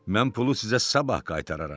Mən pulu sizə sabah qaytararam.